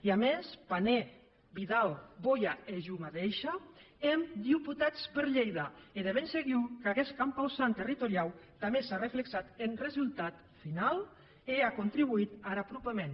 e a mès pané vidal boya e jo madeisha èm deputats per lhèida e de ben segur qu’aguest compausant territoriau tanben s’a reflexat en resultat finau e a contribuït ar apropament